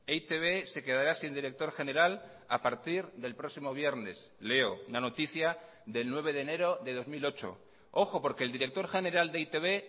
e i te be se quedará sin director general a partir del próximo viernes leo la noticia del nueve de enero de dos mil ocho ojo porque el director general de e i te be